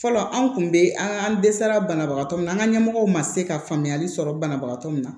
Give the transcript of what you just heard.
Fɔlɔ an kun bɛ an dɛsɛra banabagatɔ min na an ka ɲɛmɔgɔw ma se ka faamuyali sɔrɔ banabagatɔ min na